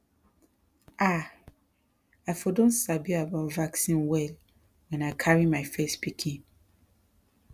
ah i for don sabi about vaccine well when i carry my first pikin